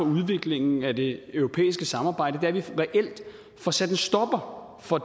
udviklingen af det europæiske samarbejde er at vi reelt får sat en stopper for